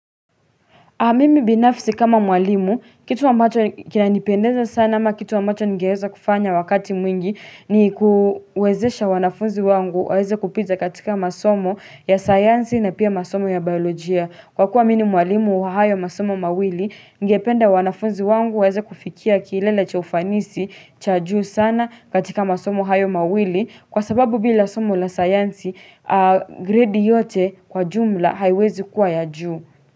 Mimi binafsi kama mwalimu, kitu ambacho kinanipendeza sana ama kitu ambacho ningeweza kufanya wakati mwingi ni, kuwezesha wanafunzi wangu waweze kupiza katika masomo ya sayansi na pia masomo ya biolojia. Kwa kuwa mimi ni mwalimu wa hayo masomo mawili. Ningependa wanafunzi wangu waweze kufikia kiilele cha ufanisi cha juu sana katika masomo hayo mawili. Kwa sababu bila somo la sayansi, grade yote kwa jumla haiwezi kuwa ya juu.